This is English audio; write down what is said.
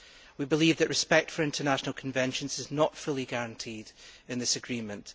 We believe that respect for international conventions is not fully guaranteed in this agreement.